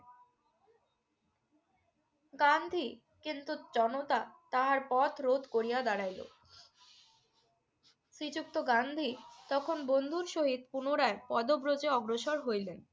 গান্ধী কিন্তু জনতা তাহার পথ রোধ করিয়া দাড়াইল। শ্রীযুক্ত গান্ধী তখন বন্ধুর সহিত পুনরায় পদব্রজে অগ্রসর হইলেন।